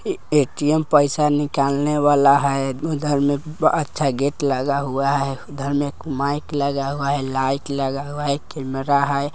ATM. पैसा निकालने वाला है। उधर में अच्छा गेट लगा हुआ है। उधर में एक माइक लगा हुआ है। लाइट लगा हुआ है। कैमरा है।